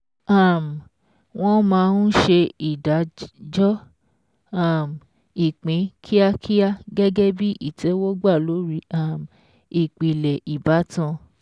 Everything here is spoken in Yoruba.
um Wọ́n máa ń ṣe ìdájọ́ um ìpín kíákíá gẹ́gẹ́ bí ìtẹ́wọ́gbà lórí um ìpìlẹ̀ ìbátan.